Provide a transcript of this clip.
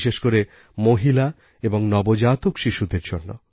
বিশেষ করে মহিলা এবং নবজাতক শিশুদের জন্য